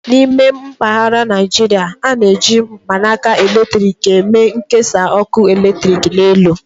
N'ime mpaghara Naijiria, a na-eji mkpanaka eletrik eme nkesa ọkụ eletrik n'elu.